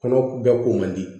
Kɔnɔ bɛɛ ko man di